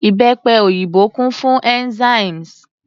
Ìbẹ́pe òyìnbó kún fún enzymes.